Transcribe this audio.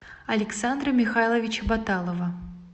александра михайловича баталова